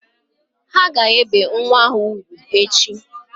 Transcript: Ha ga-ebe nwa ha ugwu echi